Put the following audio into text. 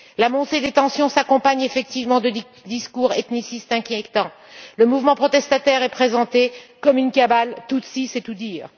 La montée des tensions s'accompagne effectivement de discours ethnicistes inquiétants. Le mouvement protestataire est présenté comme une cabale tutsie, c'est tout